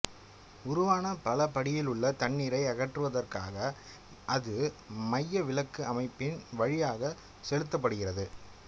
உருவான பலபடியிலுள்ள தண்ணீரை அகற்றுவதற்காக அது மையவிலக்கு அமைப்பின் வழியாகச் செலுத்தப்படுகிறது